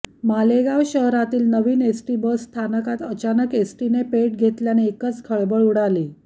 मालेगाव शहरातील नवीन ST bus स्थानकात अचानक एसटीने पेट घेतल्याने एकच खळबळ उडाली